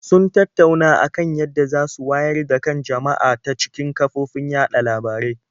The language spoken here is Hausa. Sun tattauna a kan yadda za su wayar da kan jama'a ta cikin kafofin yaɗa labarai.